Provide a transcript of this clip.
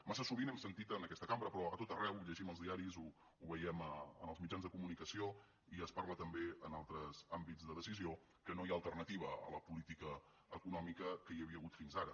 massa sovint hem sentit en aquesta cambra però a tot arreu ho llegim als diaris ho veiem en els mitjans de comunicació i se’n parla també en altres àmbits de decisió que no hi ha alternativa a la política econòmica que hi havia hagut fins ara